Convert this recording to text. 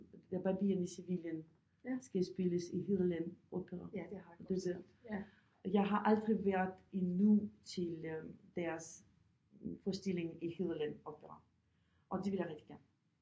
Da Barberen i Sevillen skal spilles i Hedeland Opera jeg har aldrig været endnu øh til deres forestilling i Hedeland Opera og det vil jeg rigtig gerne